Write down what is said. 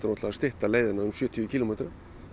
að stytta leiðina um sjötíu kílómetra